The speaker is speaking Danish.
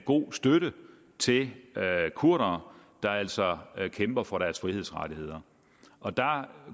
god støtte til kurdere der altså kæmper for deres frihedsrettigheder og der